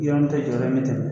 Yɔrɔ min tɛ jɔyɔrɔ me tɛmɛ